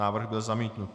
Návrh byl zamítnut.